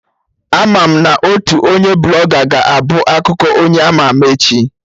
Ama mụ na otu onye Blọga ga-ebu akụkọ onye ama ama echi